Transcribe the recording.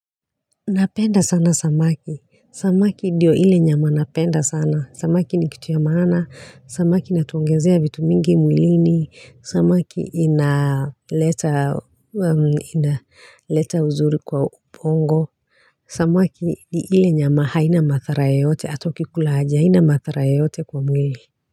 Napenda sana samaki. Samaki ndio ile nyama napenda sana. Samaki ni kitu ya maana. Samaki inatuongezea vitu mingi mwilini. Samaki inaleta uzuri kwa ubongo. Samaki ni ile nyama haina madhara yoyote ata ukikula aje. Haina madhara yoyote kwa mwili.